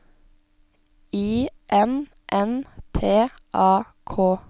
I N N T A K